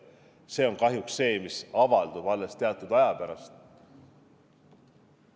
See on kahjuks see, mis avaldub alles teatud aja pärast.